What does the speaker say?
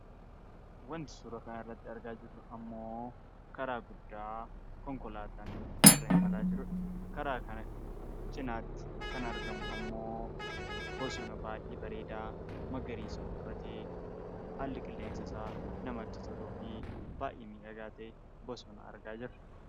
Waanti suura kana irratti argaa jirru immoo, karaa guddaa konkolaataan irra imalaa jirudha. Karaa kana cinaatti kan argamu immoo bosona baayyee bareedaa magariisa uffatee, haalli qilleensa isaa namatti toluu fi baayyee miidhagaa ta'e bosona argaa jirra.